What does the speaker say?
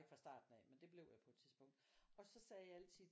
Jeg ikke fra starten af men det blev jeg på et tidspunkt og så sagde jeg altid